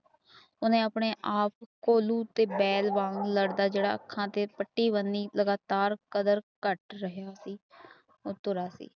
ਉਸਨੇ ਆਪਣੇ ਆਪ ਕੋਲੀ ਉਤੇ ਬੈਠ ਜਾਓ ਲੜਦਾ ਜਿਹੜਾ ਅੱਖਾਂ ਤੇ ਪਟੀ ਬਾਣੀ ਲਗਤਾਰ ਕਦਰ ਕੁੱਟ ਰਹੇ